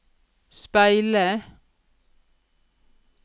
speile